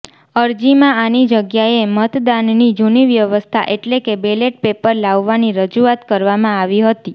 અરજીમાં આની જગ્યાએ મતદાનની જુની વ્યવસ્થા એટલે કે બેલેટ પેપર લાવવાની રજુઆત કરવામાં આવી હતી